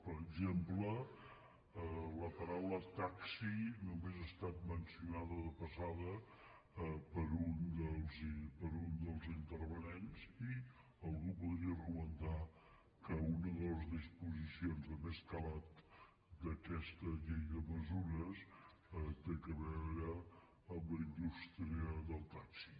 per exemple la paraula taxi només ha estat mencionada de passada per un dels intervinents i algú podria argumentar que una de les disposicions de més calat d’aquesta llei de mesures té a veure amb la indústria del taxi